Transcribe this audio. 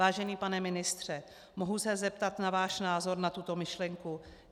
Vážený pane ministře, mohu se zeptat na váš názor na tuto myšlenku?